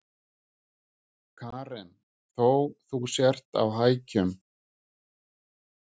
Karen: Þó þú sért á hækjum?